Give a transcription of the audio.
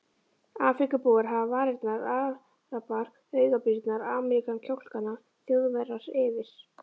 Afríkubúar hafa varirnar, arabar augabrýrnar, Ameríkanar kjálkana, Þjóðverjar yfir